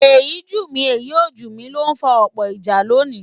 Èyí jù mí èyí ò jù mí ló ń fa ọ̀pọ̀ ìjà lónìí